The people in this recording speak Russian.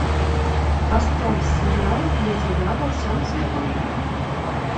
поставь сериал для тебя во всем цвету